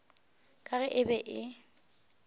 ka ge e be e